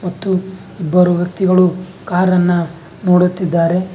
ಮತ್ತು ಇಬ್ಬರು ವ್ಯಕ್ತಿಗಳು ಕಾರನ್ನ ನೋಡುತ್ತಿದ್ದಾರೆ.